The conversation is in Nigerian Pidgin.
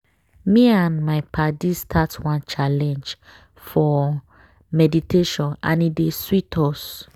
me and my paddies start one challenge for meditationand e dey sweet us.